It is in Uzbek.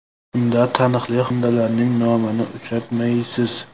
Unda taniqli xonandalarning nomini uchratmaysiz.